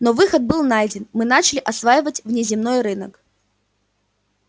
но выход был найден мы начали осваивать внеземной рынок